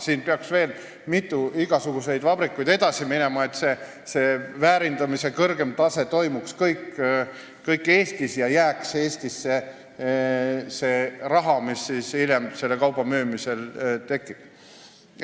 Siin peaks veel igasuguseid vabrikuid olema, et see väärindamise kõrgeim tase oleks Eestis ja Eestisse jääks see raha, mis hiljem selle kauba müümisel tekib.